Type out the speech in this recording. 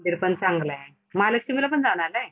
मंदिरपण चांगलंय. महालक्ष्मीला पण जाऊन आलायं?